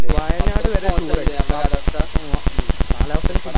വയനാട് വരെ മ്മ് കാലാവസ്ഥയെ കുറിച്ച്